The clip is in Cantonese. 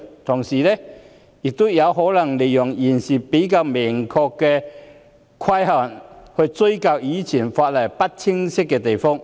同時，有人可能利用現時比較明確的規限，追究以往法例不清晰的地方。